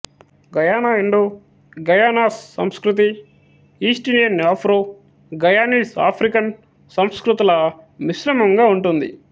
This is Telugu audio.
గయానా ఇండో గయానాస్ సంస్కృతి ఈస్టిండియన్ ఆఫ్రో గయానీస్ ఆఫ్రికన్ సంస్కృతుల మిశ్రమంగా ఉంటుంది